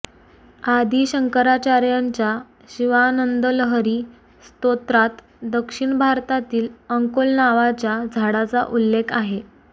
आदि शंकराचार्याच्या शिवानंदलहरी स्तोत्रात दक्षिण भारतातील अंकोल नावाच्या झाडाचा उल्लेख आहे